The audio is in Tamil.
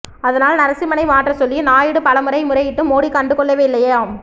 அதனால் நரசிம்மனை மாற்ற சொல்லி நாயுடு பல முறை முறையிட்டும் மோடி கண்டு கொள்ளவேயில்லையாம்